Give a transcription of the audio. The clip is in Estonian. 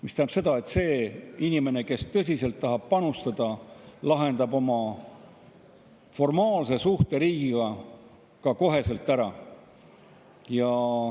See tähendab seda, et see inimene, kes tõsiselt tahab panustada, lahendab oma formaalse suhte riigiga ka kohe ära.